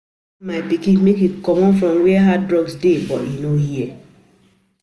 I warn my pikin make e comot from where hard drugs dey but e no hear